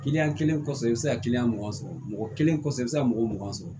Kiliyan kelen kɔfɛ i bɛ se ka kiliyan mugan sɔrɔ mɔgɔ kelen kɔfɛ i bɛ se ka mɔgɔ mugan sɔrɔ